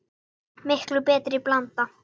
Miklu betri blanda?